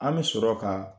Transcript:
An bɛ sɔrɔ ka